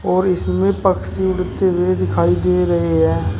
और इसमें पक्षी उड़ते हुए दिखाई दे रहे हैं।